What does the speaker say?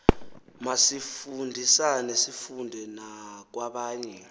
masifundisane sifunde nakwabanye